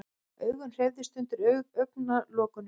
Augun hreyfðust undir augnalokunum.